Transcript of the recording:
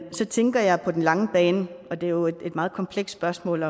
så tænker jeg på den lange bane og det er jo et meget komplekst spørgsmål